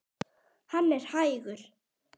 Hann er hægur.